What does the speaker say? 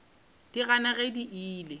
di gana ge di ile